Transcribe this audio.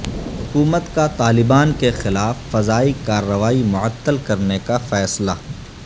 حکومت کا طالبان کے خلاف فضائی کارروائی معطل کرنے کا فیصلہ